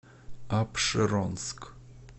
апшеронск